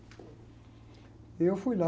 E eu fui lá...